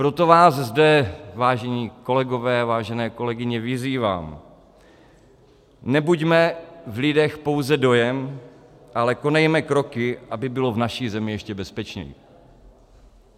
Proto vás zde, vážení kolegové, vážené kolegyně, vyzývám, nebuďme v lidech pouze dojem, ale konejme kroky, aby bylo v naší zemi ještě bezpečněji.